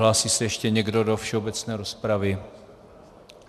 Hlásí se ještě někdo do všeobecné rozpravy?